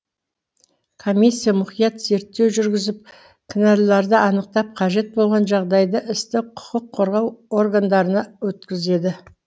комиссия мұқият зерттеу жүргізіп кінәлілерді анықтап қажет болған жағдайда істі құқық қорғау органдарына өткізеді